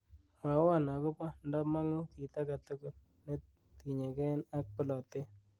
mwowon agopo ndo mong'u kiit agetugul netinyeng'en ak boletet